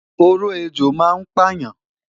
Oró ejò ma n payan